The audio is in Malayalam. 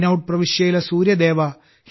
റെയ്നൌഡ് പ്രവിശ്യയിലെ സൂര്യദേവാ